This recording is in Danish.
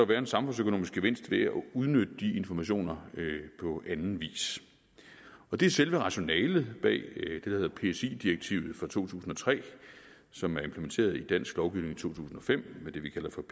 være en samfundsøkonomisk gevinst ved at udnytte de informationer på anden vis det er selve rationalet bag hedder psi direktivet fra to tusind og tre som er implementeret i dansk lovgivning i to tusind og fem med det vi kalder for